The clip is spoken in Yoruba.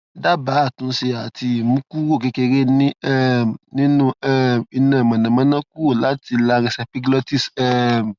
dabaa atunse ati imu kuro kekere ni um ninu um ina monamona kuro lati larynxepiglotis um